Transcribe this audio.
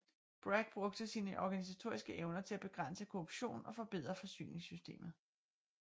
Bragg brugte sine organisatoriske evner til at begrænse korruptionen og forbedre forsyningssystemet